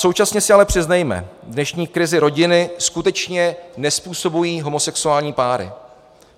Současně si ale přiznejme: Dnešní krizi rodiny skutečně nezpůsobují homosexuální páry.